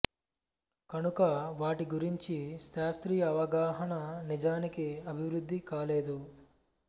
కనుక వాటి గురించి శాస్త్రీయ అవగాహన నిజానికి అభివృద్ధి కాలేదు